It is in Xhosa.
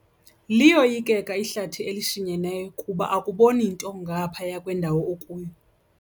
Liyoyikeka ihlathi elishinyeneyo kuba akuboni nto ngaphaya kwendawo okuyo.